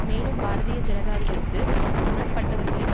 மேலும் பாரதீய ஜனதாவிலிருந்து முரண்பட்டவர்களின்